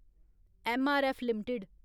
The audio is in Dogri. MRF limited